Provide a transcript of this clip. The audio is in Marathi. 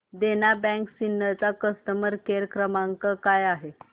देना बँक सिन्नर चा कस्टमर केअर क्रमांक काय आहे